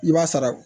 I b'a sara